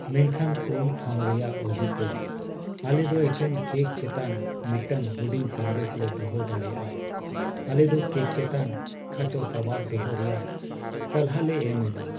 ᱢᱮᱱᱠᱷᱟᱱ ᱠᱚᱢ ᱴᱷᱟᱶ ᱨᱮᱭᱟᱜ ᱚᱡᱮᱛᱮ, ᱟᱞᱮ ᱫᱚ ᱮᱠᱮᱱ ᱠᱮᱠ ᱪᱮᱛᱟᱱ ᱢᱤᱫᱴᱟᱝ ᱦᱩᱰᱤᱧ ᱥᱟᱸᱫᱮᱥ ᱞᱮ ᱫᱚᱦᱚ ᱫᱟᱲᱮᱭᱟᱜᱼᱟ ᱾ ᱟᱞᱮ ᱫᱚ ᱠᱮᱠ ᱪᱮᱛᱟᱱ ᱠᱷᱟᱴᱚ ᱥᱟᱵᱟᱫ ᱫᱚᱦᱚ ᱨᱮᱭᱟᱜ ᱥᱟᱞᱦᱟᱞᱮ ᱮᱢ ᱮᱫᱟ ᱾